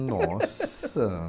Nossa!